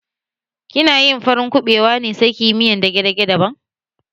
Kina yin farin kuɓewa ne sai ki yi miyar dage-dage daban?